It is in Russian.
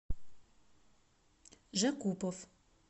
жакупов